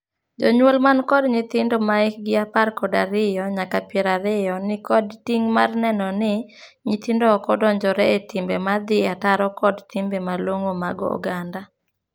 Jonyuol man kod nyithindo ma hikgi apar kod ariyo nyaka piero ariyo ni kod ting' mar neno ni nyithindo ok odonjore e timbe ma dhii ataro kod timbe malong'o mag oganda.